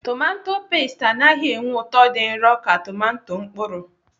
Tomato peesti anaghị enye ụtọ dị nro ka tomato mkpụrụ.